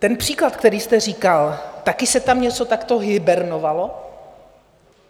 Ten příklad, který jste říkal, taky se tam něco takto hibernovalo?